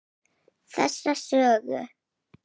Þessa sögu.